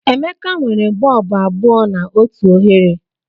Emeka nwere bọlbụ abụọ na otu oghere.